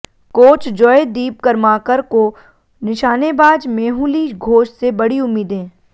coach Joydeep Karmakar को निशानेबाज मेहुली घोष से बडी उम्मीदें